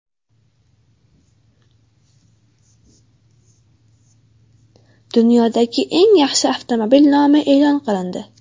Dunyodagi eng yaxshi avtomobil nomi e’lon qilindi.